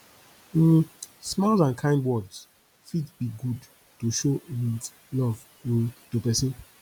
um smiles and kind words fit be good to show um love um to pesin